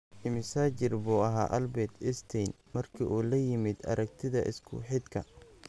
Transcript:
Immisa jir buu ahaa Albert Einstein markii uu la yimid aragtida isku-xidhka?